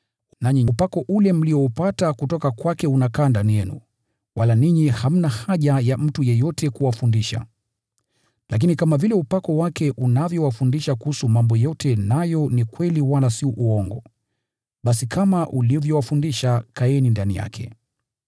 Nanyi, upako mlioupata kutoka kwake unakaa ndani yenu, wala ninyi hamna haja ya mtu yeyote kuwafundisha. Lakini kama vile upako wake unavyowafundisha kuhusu mambo yote nayo ni kweli wala si uongo, basi kama ulivyowafundisha kaeni ndani yake.